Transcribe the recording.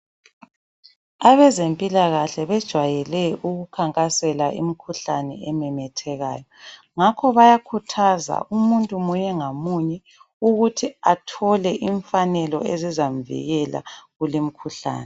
Abezempilakahle bejayele ukukhankasela imikhuhlane ememethekayo, ngakho bayakhuthaza umuntu munye ngamunye ukuthi athole imifanelo ezizamvikela kulemkhuhlane